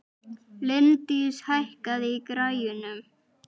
Líndís, hækkaðu í græjunum.